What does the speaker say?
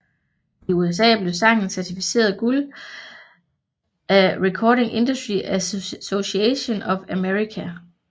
I USA blev sangen certificert guld af Recording Industry Association of America